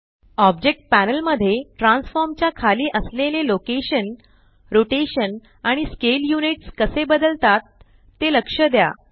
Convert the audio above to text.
object panel मध्ये transform च्या खाली असलेले लोकेशन रोटेशन आणि स्केल यूनिट्स कसे बदलतात ते लक्ष द्या